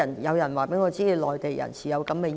有人告訴我，內地人士有這樣的意見。